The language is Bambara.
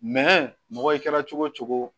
Mɛ mɔgɔ i kɛra cogo o cogo